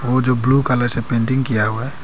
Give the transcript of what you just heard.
वो जो blue colour से पेंटिंग किया हुआ है।